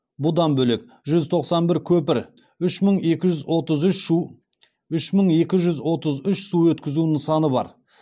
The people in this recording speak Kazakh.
бұдан бөлек жүз тоқсан бір көпір үш мың екі жүз отыз үш су өткізу нысаны бар